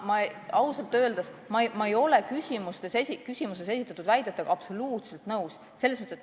Ma ausalt öeldes ei ole küsimuses esitatud väidetega absoluutselt nõus.